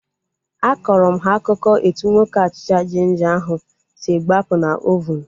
Akọrọ m ha akụkọ etu nwoke achịcha jinja ahu si gbapụ na ovunu